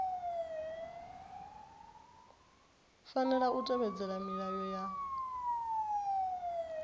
fanela u tevhedzela milayo ya